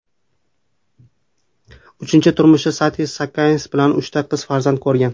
Uchinchi turmushi Sati Saakyanats bilan uchta qiz farzand ko‘rgan.